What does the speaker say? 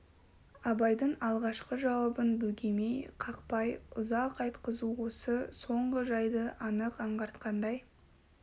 абайдың алғашқы жауабын бөгемей қақпай ұзақ айтқызу осы соңғы жайды анық аңғартқандай